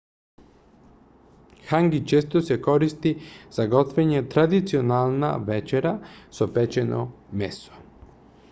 ханги често се користи за готвење традиционална вечера со печено месо